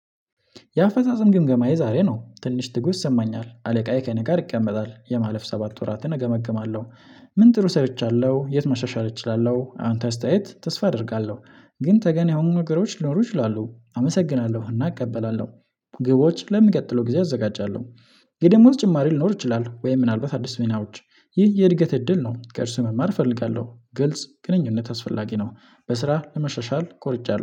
የአፈጻጸም ግምገማዬ ዛሬ ነው ትንሽ ትጉህ ይሰማኛል አለቃዬ ከእኔ ጋር ይቀመጣል የማለፍ ሰባት ወራትን እገመግማለሁ? ምን ጥሩ ሰርቻለሁ የት መሻሻል እችላለሁ? አንተ አስተያየት ተስፋ አደርጋለሁ። ግን ተገን የሆኑ ነገሮች ሊኖሩ ይችላሉ አመሰግናለሁ እና እቀበላለሁ። ግቦች ለሚቀጥለው ጊዜ አዘጋጃለሁ። የደሞዝ ጭማሪ ሊኖር ይችላል ወይ ምን አልባት አዲስ ዜናዎች? ይህ የእድገት እድል ነው። ከእርሱ መማር እፈልጋለሁ ግልጽ ግንኙነት አስፈላጊ ነው። በስራ ለመሻሻል ቆርጫለሁ